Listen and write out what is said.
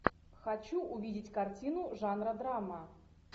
хочу увидеть картину жанра драма